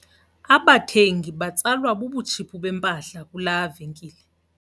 Abathengi batsalwa bubutshiphu bempahla kulaa venkile.